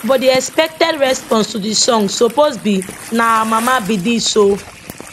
but di expected response to di song suppose be na our mama be dis o